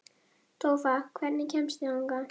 Tófa, hvernig kemst ég þangað?